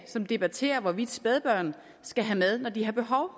som debatterer hvorvidt spædbørn skal have mad når de har behov